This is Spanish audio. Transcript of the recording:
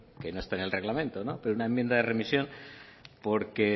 que no está en el reglamente pero una enmienda de remisión porque